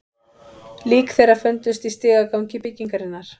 Lík þeirra fundust í stigagangi byggingarinnar